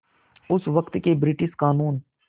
उस वक़्त के ब्रिटिश क़ानून